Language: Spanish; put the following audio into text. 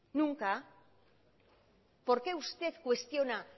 nunca por qué usted cuestiona